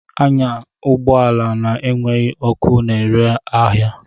Anya ụgbọ ala na-enweghị ọkụ na-ere ahịa!